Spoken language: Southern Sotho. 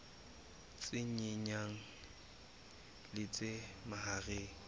tse nyenyane le tse mahareng